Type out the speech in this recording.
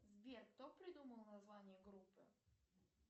сбер кто придумал название группы